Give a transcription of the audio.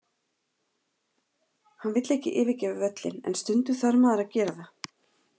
Hann vill ekki yfirgefa völlinn, en stundum þarf maður að gera það.